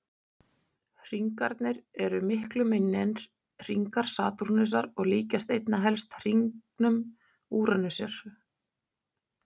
Hringarnir eru miklu minni en hringar Satúrnusar og líkjast einna helst hringum Úranusar.